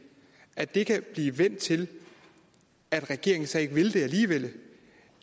at det kan blive vendt til at regeringen så ikke vil det alligevel